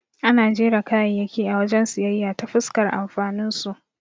Ana jera kayayyaki a wajen siyayya ta fuskar amfaninsu.